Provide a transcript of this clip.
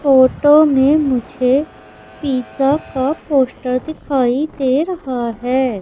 Photo में मुझे pizza का पोस्टर दिखाई दे रहा है।